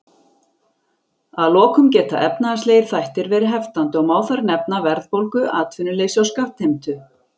Að lokum geta efnahagslegir þættir verið heftandi og má þar nefna verðbólgu, atvinnuleysi og skattheimtu.